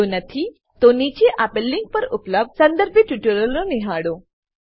જો નથી તો નીચે આપેલ લીંક પર ઉપલબ્ધ સંદર્ભિત ટ્યુટોરીયલો નિહાળો